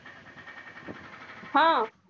हा